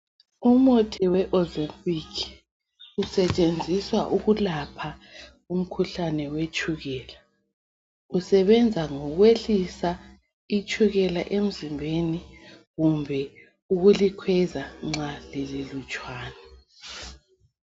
Umuthi weozempic usetshenziswa ukulapha umkhuhlane wetshukela usebenza ngokwehlisa itshukela emzimbeni kumbe ukulikhweza nxa lililutshwane.